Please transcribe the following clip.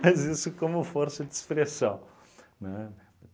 mas isso como força de expressão, né?